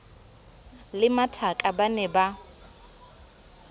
le mathaka ba ne ba